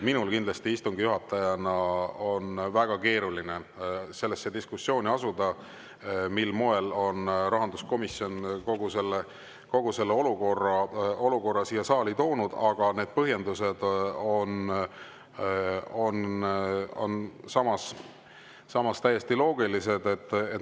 Minul istungi juhatajana on kindlasti väga keeruline astuda sellesse diskussiooni, mil moel on rahanduskomisjon kõik selle siia saali toonud, aga need põhjendused on samas täiesti loogilised.